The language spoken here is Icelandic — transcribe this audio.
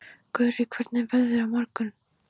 Gurrí, hvernig er veðrið á morgun?